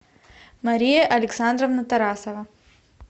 мария александровна тарасова